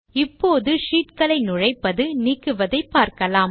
இப்போது ஷீட் களை நுழைப்பது நீக்குவதை பார்க்கலாம்